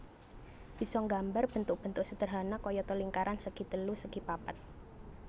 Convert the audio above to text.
Bisa nggambar bentuk bentuk sederhana kayata lingkaran segi telu segi papat